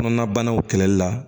Kɔnɔnabanaw kɛlɛli la